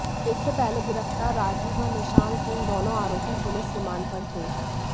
इससे पहले गिरफ्तार राजीव व निशान सिंह दोनों आरोपी पुलिस रिमांड पर थे